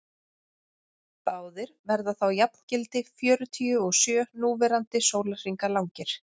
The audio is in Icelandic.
báðir verða þá jafngildi fjörutíu og sjö núverandi sólarhringa langir